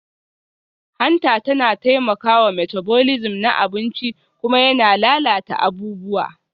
Hanta yana taimakawa metabolism na abinci kuma yana lalata abubuwa